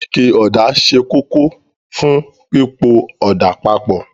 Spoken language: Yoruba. Ike ọ̀dà ṣe kókó fún pípo ọ̀dà papọ̀